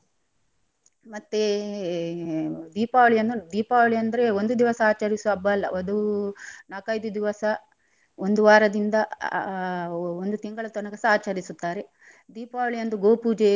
ಮತ್ತೇ ದೀಪಾವಳಿಯನ್ನು ದೀಪಾವಳಿ ಅಂದ್ರೆ ಒಂದು ದಿವಸ ಆಚರಿಸುವ ಹಬ್ಬ ಅಲ್ಲ ಅದು ನಾಕೈದು ದಿವಸ ಒಂದು ವಾರದಿಂದ ಆ ಒ~ ಒಂದು ತಿಂಗಳ ತನಕಸ ಆಚರಿಸುತ್ತಾರೆ ದೀಪಾವಳಿಯಂದು ಗೋ ಪೂಜೆ.